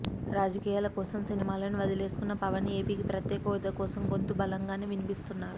రాజకీయాల కోసం సినిమాలను వదిలేసుకున్న పవన్ ఏపీకి ప్రత్యేకహోదా కోసం గొంతు బలంగానే వినిపిస్తున్నారు